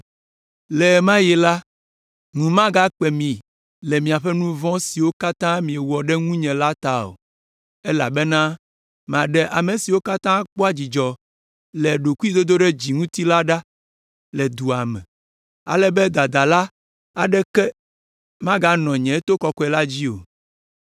Le ɣe ma ɣi la, ŋu magakpe mi le miaƒe nu vɔ̃ siwo katã miewɔ ɖe ŋunye la ta o, elabena maɖe ame siwo katã kpɔa dzidzɔ le ɖokuidodoɖedzi ŋuti la ɖa le dua me, ale be dadala aɖeke maganɔ nye to kɔkɔe la dzi o.